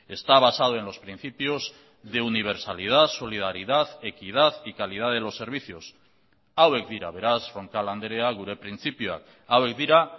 está basado en los principios de universalidad solidaridad equidad y calidad de los servicios hauek dira beraz roncal andrea gure printzipioak hauek dira